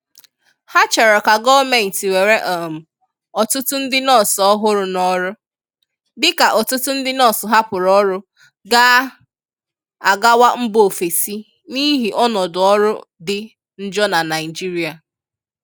Ha chọrọ ka gọọment were um ọtụtụ ndị nọọsụ ọhụrụ n'ọrụ, dịka ọtụtụ ndị nọọsụ hapụrụ ọrụ ga agawa mba ofeesi n'ihi ọnọdụ ọrụ dị njọọ na Naịjirịa.